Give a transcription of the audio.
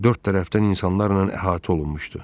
Dörd tərəfdən insanlarla əhatə olunmuşdu.